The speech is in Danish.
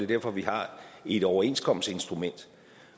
derfor at vi har et overenskomstinstrument